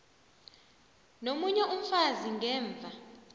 nomunye umfazi ngemva